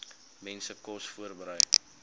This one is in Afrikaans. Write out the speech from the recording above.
mense kos voorberei